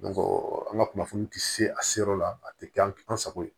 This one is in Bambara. an ka kunnafoni ti se a seyɔrɔ la a ti kɛ an sago ye